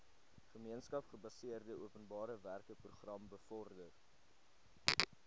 gemeenskapsgebaseerde openbarewerkeprogram bevorder